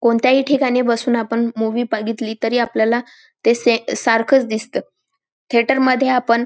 कोणत्याही ठिकाणी बसून आपण मूवी बघितली तरी आपल्याला ते से सारखच दिसत थिएटर मध्ये आपण--